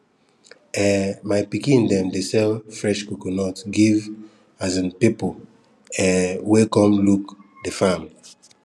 um my pikin dem dey sell fresh coconut give um people um wey come look the farm